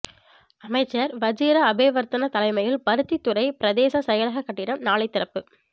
அமைச்சர் வஜிர அபேவர்த்தன தலைமையில் பருத்தித்துறை பிரதேச செயலக கட்டிடம் நாளை திறப்பு